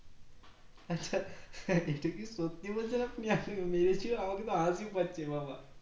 এটা কি সত্যি বলছেন আপনি মেরেছে আমাকে হাসি পাচ্ছে বাবা